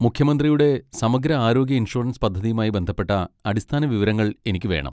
മുഖ്യമന്ത്രിയുടെ സമഗ്ര ആരോഗ്യ ഇൻഷുറൻസ് പദ്ധതിയുമായി ബന്ധപ്പെട്ട അടിസ്ഥാന വിവരങ്ങൾ എനിക്ക് വേണം.